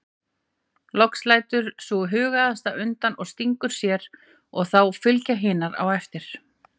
Loks lætur sú hugaðasta undan og stingur sér og þá fylgja hinar á eftir.